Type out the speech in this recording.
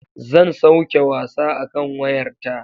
Zan sauke wasa akan wayar ta.